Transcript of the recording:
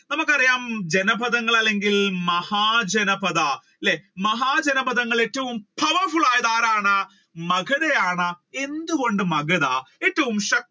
നമ്മുക്ക് അറിയാം ജനപഥങ്ങൾ അല്ലെങ്കിൽ മഹാജനപഥ അല്ലെ മഹാജനപഥങ്ങൾ ഏറ്റവും powerful ആയത് ആരാണ് മഗധയാണ്. എന്തുകൊണ്ട് മഗധ